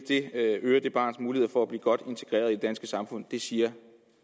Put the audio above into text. det øger det barns muligheder for at blive godt integreret i det danske samfund det siger